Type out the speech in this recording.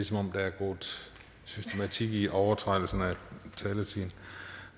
som om der er gået systematik i at overtræde taletiden